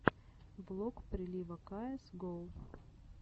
влог прилива каэс гоу